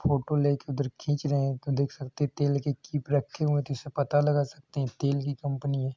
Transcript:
Photo लेके उधर खींच रहे हैं देख सकते हैं की तेल के कीप रखे हुए हैं जिससे पता लगा सकते हैं कि तेल की कंपनी है।